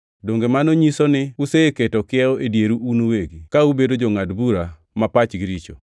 donge mano nyiso ni useketo kiewo e dieru un uwegi, ka ubedo jongʼad bura ma pachgi richo?